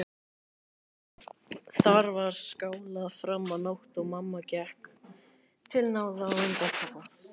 Þar var skálað fram á nótt og mamma gekk til náða á undan pabba.